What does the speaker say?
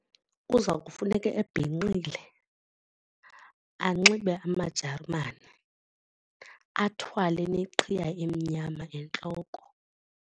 Kuza kufuneka ebhinqile anxibe amajerimane athwale neqhiya emnyama entloko.